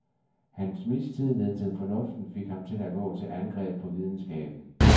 Hans mistillid til fornuften fik ham til at gå til angreb på videnskaben.